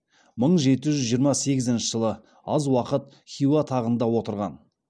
мың жеті жүз жиырма сегізінші жылы аз уақыт хиуа тағында отырған